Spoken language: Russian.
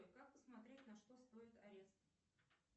как посмотреть на что стоит арест